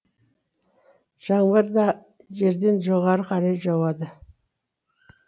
жаңбыр да жерден жоғары қарай жауады